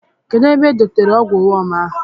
Kedụ ebe u dotere ọgwụ wọm ahụ?